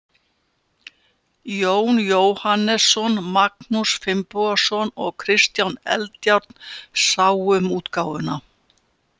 Jón Jóhannesson, Magnús Finnbogason og Kristján Eldjárn sáu um útgáfuna.